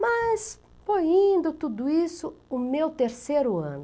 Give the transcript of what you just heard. Mas foi indo tudo isso, o meu terceiro ano.